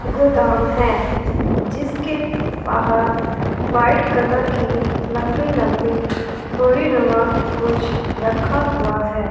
गोदाम है जिसके बाहर व्हाइट कलर की लंबी लंबी बोरीनुमा कुछ रखा हुआ है।